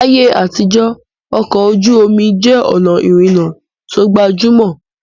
Láyé àtijọ́, ọkọ̀ ojú omi jẹ́ ọ̀nà ìrìnnà tó gbajúmọ̀